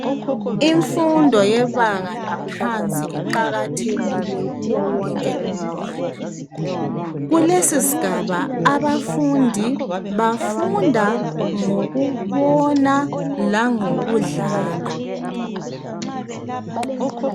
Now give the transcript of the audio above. Imfundo yebanga laphansi iqakathekile kuye wonke umntwana. Kulesisigaba abafundi, bafunda ngokubona langokudlala.